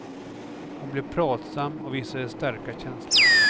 Hon blev pratsam och visade starka känslor.